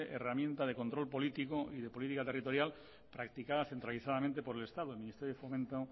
herramienta de control político y de política territorial practicada centralizadamente por el estado el ministerio de fomento